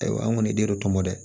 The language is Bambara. Ayiwa an kɔni den do tɔmɔ dɛ